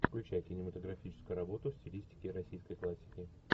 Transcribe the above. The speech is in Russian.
включай кинематографическую работу в стилистике российской классики